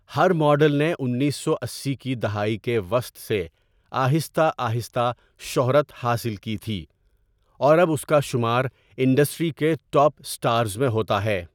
ہر model نے انیس سو اسی کی دہائی کے وسط سے آہستہ آہستہ شہرت حاصل کی تھی اور اب اس کا شمار انڈسٹری کے ٹاپ اسٹارز میں ہوتا ہے۔